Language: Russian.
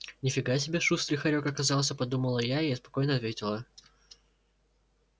ни фига себе шустрый хорёк оказался подумала я и спокойно ответила